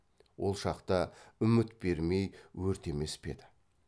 ол шақта үміт бермей өртемес пе еді